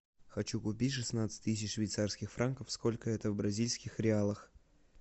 хочу купить шестнадцать тысяч швейцарских франков сколько это в бразильских реалах